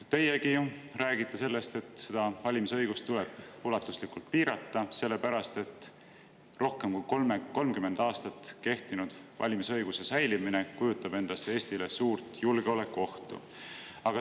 Teiegi räägite sellest, et seda valimisõigust tuleb ulatuslikult piirata, sest rohkem kui 30 aastat kehtinud valimisõiguse säilimine kujutavat endast Eestile suurt julgeolekuohtu.